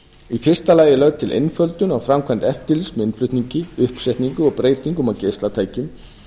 í fyrsta lagi er lögð til einföldun á framkvæmd eftirlits með innflutningi uppsetningu og breytingum á geislatækjum